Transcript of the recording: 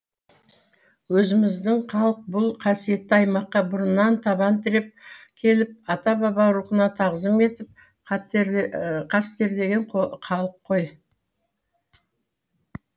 өзіміздің халық бұл қасиетті аймаққа бұрыннан табан тіреп келіп ата баба рухына тағзым етіп қастерлеген халық қой